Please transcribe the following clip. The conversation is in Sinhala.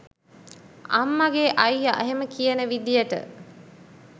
අම්මගේ අයිය එහෙම කියන විදියට